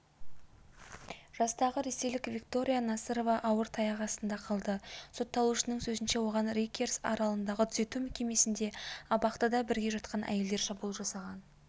жастағы ресейлік виктория насырова ауыр таяқ астында қалды сотталушының сөзінше оған райкерс аралындағы түзету мекемесінде абақтыда бірге жатқан әйелдер шабуыл жасаған